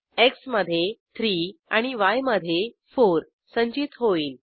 x मधे 3 आणि य मधे 4 संचित होईल